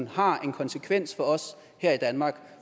har en konsekvens for os her i danmark